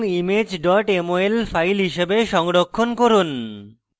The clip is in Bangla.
image mol file হিসাবে সংরক্ষণ করুন